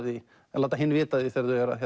því að láta hinn vita af því þegar þau eru að